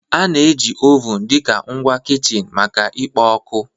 A na-eji ovun dị ka ngwa kichin maka ikpo ọkụ